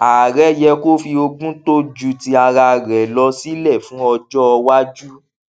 ààrẹ yẹ kó fi ogún tó jù ti ara rẹ lọ sílẹ fún ọjọ iwájú